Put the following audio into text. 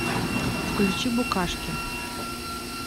включи букашки